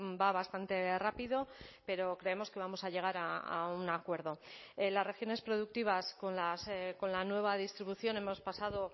va bastante rápido pero creemos que vamos a llegar a un acuerdo las regiones productivas con la nueva distribución hemos pasado